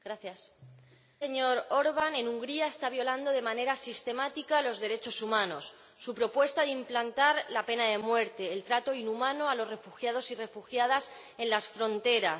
Señor Presidente, el Gobierno del señor Orbán en Hungría está violando de manera sistemática los derechos humanos. Su propuesta de implantar la pena de muerte el trato inhumano a los refugiados y refugiadas en las fronteras